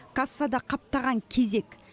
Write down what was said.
кассада қаптаған кезек